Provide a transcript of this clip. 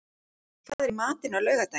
Ísrún, hvað er í matinn á laugardaginn?